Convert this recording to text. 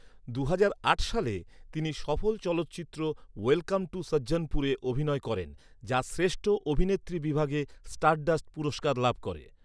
দুহাজার আট সালে, তিনি সফল চলচ্চিত্র 'ওয়েলকাম টু সজ্জনপুরে' অভিনয় করেন, যা শ্রেষ্ঠ অভিনেত্রীবিভাগে স্টারডাস্ট পুরস্কার লাভ করে।